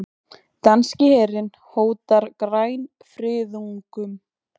Danski herinn hótar grænfriðungum